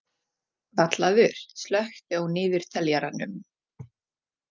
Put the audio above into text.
Vallaður, slökktu á niðurteljaranum.